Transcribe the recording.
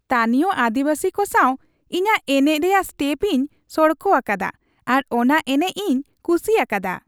ᱛᱟᱹᱱᱤᱭᱚ ᱟᱹᱫᱤᱵᱟᱹᱥᱤ ᱠᱚ ᱥᱟᱶ ᱤᱧᱟᱹᱜ ᱮᱱᱮᱡ ᱨᱮᱭᱟᱜ ᱥᱴᱮᱯ ᱤᱧ ᱥᱚᱲᱠᱚ ᱟᱠᱟᱫᱟ ᱟᱨ ᱚᱱᱟ ᱮᱱᱮᱡ ᱤᱧ ᱠᱩᱥᱤ ᱟᱠᱟᱫᱟ ᱾